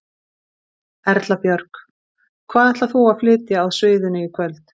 Erla Björg: Hvað ætlar þú að flytja á sviðinu í kvöld?